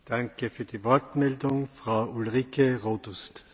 Herr Präsident, Herr Kommissar, liebe Kolleginnen und Kollegen!